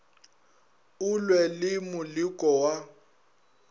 o lwe le moleko wa